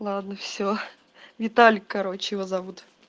ладно все виталик короче его зовут